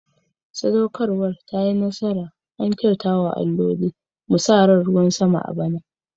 Sadaukarwa ta yi nasara, an kyauta wa alloli. Mu sa ran ruwan sama a bana.